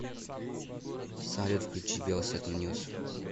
салют включи белсат ньюс